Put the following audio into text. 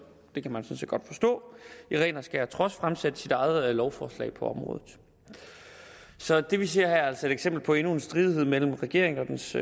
det kan man sådan set godt forstå i ren og skær trods fremsat sit eget lovforslag på området så det vi ser her er altså et eksempel på endnu en stridighed mellem regeringen og dens